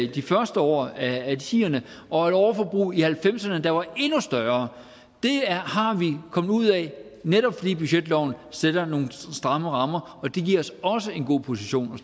de første år af tierne og et overforbrug i nitten halvfemserne der var endnu større det er vi kommet ud af netop fordi budgetloven sætter nogle stramme rammer og det giver os også en god position